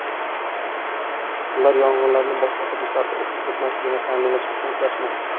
Ular yong‘inlarni boshqa hududlarga o‘tib ketmasligini ta’minlash uchun kurashmoqda.